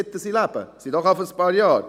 Dies sind doch schon ein paar Jahre.